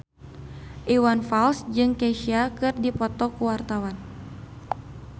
Iwan Fals jeung Kesha keur dipoto ku wartawan